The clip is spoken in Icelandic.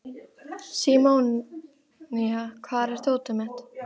Símonía, hvar er dótið mitt?